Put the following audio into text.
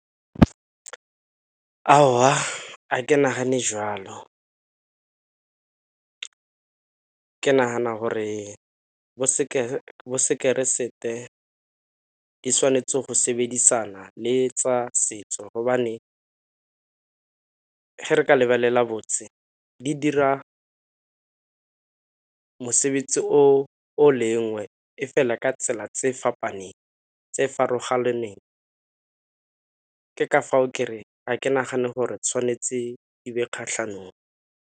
Ga ke nagane jwalo, ke nagana gore bo keresete di tshwanetse go sebedisana le tsa setso gobane ge re ka lebelela botse di dira mosebetsi o lengwe e fela ka tsela tse . Ke ka fao kereng ga ke nagane gore tshwanetse e be kgatlhanong.